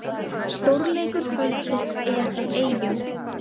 Stórleikur kvöldsins er í Eyjum